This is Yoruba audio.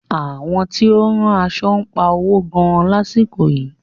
Àwọn tí ó ń rán aṣo ń pa owo gan lásìkò yìí.